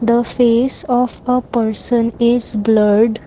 the face of a person is blurred.